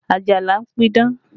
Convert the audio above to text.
Ajala ń pidán